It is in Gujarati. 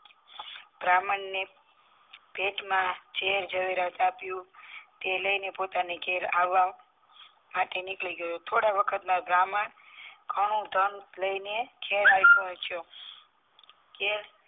બ્રાહ્મણને ભેટમાં જેર ઝવેરાત આપ્યું તે લઇને પોતાના ઘેર આવા માટે નીકળી ગયો થોડા વખતમાં બ્રાહ્મણ ઘણું ધન લઇને ઘેર આવી પોહ્ચ્યો ઘેર